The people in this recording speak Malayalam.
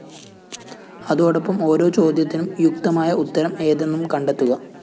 അതോടൊപ്പം ഓരോ ചോദ്യത്തിനും യുക്തമായ ഉത്തരം ഏതെന്നും കണ്ടെത്തുക